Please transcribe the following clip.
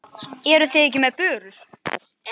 Eruð þið ekki með börur?